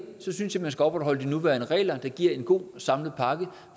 så synes jeg man skal opretholde de nuværende regler der giver en god samlet pakke